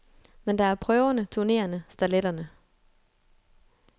Men der er prøverne, turneerne, starletterne.